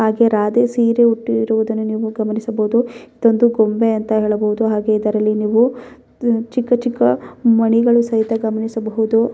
ಹಾಗೆ ರಾಧೇ ಸೀರೆ ಉಟ್ಟಿರುವುದನ್ನು ನೀವು ಗಮನಿಸಬಹುದು ಇದೊಂದು ಗೊಂಬೆ ಅಂತ ಹೇಳಬಹುದು ಹಾಗೆ ಇದರಲ್ಲಿ ನೀವು ಚಿಕ್ಕ ಚಿಕ್ಕ ದು ಮಣಿಗಳು ಸಹಿತ ಗಮನಿಸಬಹುದು.